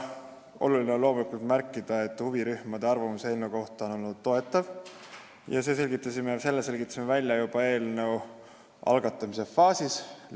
Loomulikult on oluline märkida, et huvirühmade arvamus eelnõu kohta on olnud toetav – selle selgitasime välja juba eelnõu algatamise faasis.